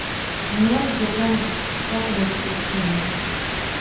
меня задержали без всякой на то причины